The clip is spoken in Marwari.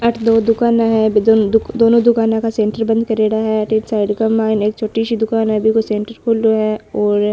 अठ दो दुकाना है बि दोनों दुकाना का सेंटर बंद करेड़ा है साइड के माय एक छोटी सी दुकान है बिको सेंटर खुलो है और --